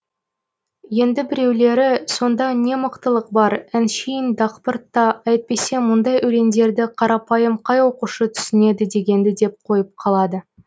енді біреулері сонда не мықтылық бар әншейін дақпырт та әйтпесе мұндай өлеңдерді қарапайым қай оқушы түсінеді дегенді деп қойып қалады